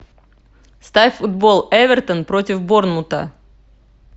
ставь футбол эвертон против борнмута